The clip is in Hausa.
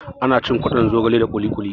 Ana cin kwaɗon zogale da kuli kuli